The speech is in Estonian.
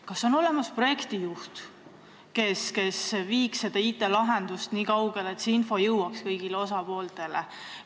Kas on olemas projektijuht, kes viiks selle IT-lahenduse nii kaugele, et see info jõuaks kõigi osapoolteni.